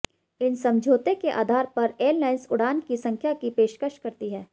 इन समझौतों के आधार पर एयरलाइंस उड़ान की संख्या की पेशकश करती हैं